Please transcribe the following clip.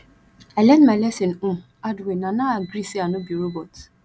i learn my lesson um hard way na now i gree say i no be robot